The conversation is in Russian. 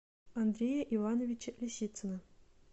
андрея ивановича лисицына